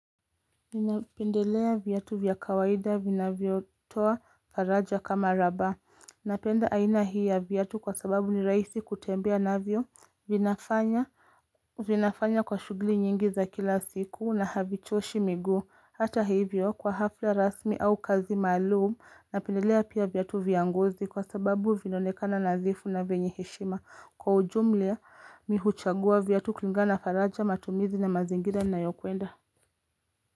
Ninapendelea viatu vya kawaida vinavyotoa faraja kama raba Napenda aina hii ya viatu kwa sababu ni rahisi kutembea navyo vinafanya vinafanya kwa shughuli nyingi za kila siku na havichoshi miguu. Hata hivyo kwa hafla rasmi au kazi maalum Napendelea pia viatu vya ngozi kwa sababu vinaonekana nadhifu na vyenye heshima Kwa ujumla mi huchagua viatu kulingana na faraja matumizi na mazingira nayokwenda.